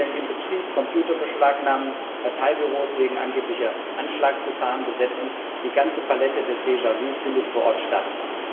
Strom abstellen im Betrieb, Computer beschlagnahmen, Parteibüros wegen angeblicher Anschlagsgefahren besetzen die ganze Palette des déjà vu findet vor Ort statt.